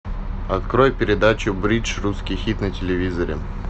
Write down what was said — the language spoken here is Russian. открой передачу бридж русский хит на телевизоре